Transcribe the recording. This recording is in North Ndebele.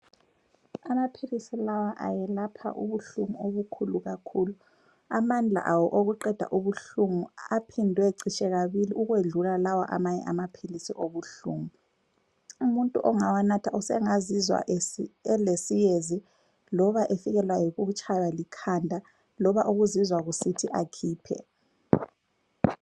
Amaphilisi lawa ayelapha ubuhlungu obukhulu kakhulu. Amandla awo okuqeda ubuhlungu aphindwe citshe kabili ukwedlula lawa amanye amaphilisi obuhlungu. Umuntu ongawanatha usengazizwa elesiyezi loba efikelwa yikutshaywa likhanda loba ukuzizwa kusithi akhiphe.